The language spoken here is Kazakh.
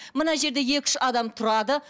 мына жерде екі үш адам тұрады